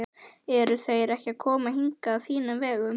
Eru þeir ekki að koma hingað á þínum vegum?